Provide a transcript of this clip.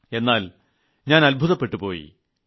എന്നാൽ ഞാൻ അത്ഭുതപ്പെട്ടുപ്പോയി